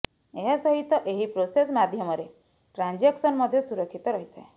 ଏହାସହିତ ଏହି ପ୍ରୋସେସ୍ ମାଧ୍ୟମରେ ଟ୍ରାଜାଂକସନ ମଧ୍ୟ ସୁରକ୍ଷିତ ରହିଥାଏ